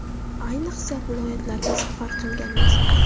Ayniqsa, viloyatlarga safar qilganimizda.